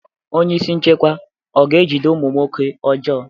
Onyeisi nchekwa ọ ga-ejide ụmụ nwoke ọjọọ?